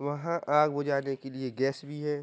वहाँ आग बुझाने के लिए गैस भी है।